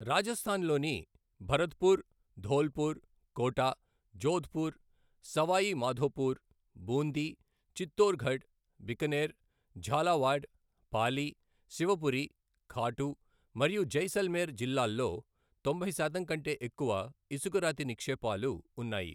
రాజస్థాన్లోని భరత్పూర్, ధోల్పూర్, కోటా, జోధ్పూర్, సవాయ్ మాధోపూర్, బూందీ, చిత్తోర్గఢ్, బికానేర్, ఝాలావాడ్, పాలి, శివపురి, ఖాటు మరియు జైసల్మేర్ జిల్లాల్లో తొంభై శాతం కంటే ఎక్కువ ఇసుక రాతి నిక్షేపాలు ఉన్నాయి.